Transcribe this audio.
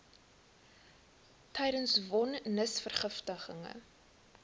tydens von nisverrigtinge